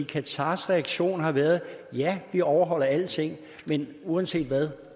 qatars reaktion har været at ja man overholder alle ting men uanset hvad